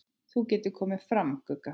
Þú getur komið fram, Gugga!